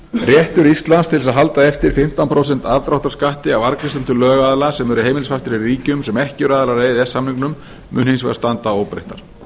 réttur íslands til að halda eftir fimmtán prósent aðdráttarskatti á arðgreiðslur til lögaðila sem eru heimilisfastir í ríkjum sem ekki eru aðilar að e e s samningnum munu hins vegar standa óbreyttar